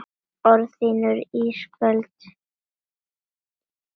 Orð þín eru ísköld.